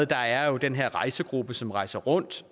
der er den her rejsegruppe som rejser rundt